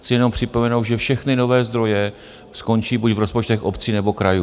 Chci jenom připomenout, že všechny nové zdroje skončí buď v rozpočtech obcí, nebo krajů.